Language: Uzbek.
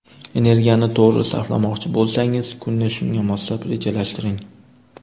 Energiyani to‘g‘ri sarflamoqchi bo‘lsangiz, kunni shunga moslab rejalashtiring.